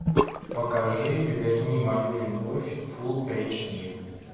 покажи верни мою любовь фул эйч ди